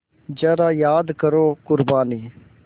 ज़रा याद करो क़ुरबानी